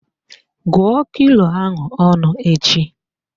Gụọ kilo ahụ ọnụ echi!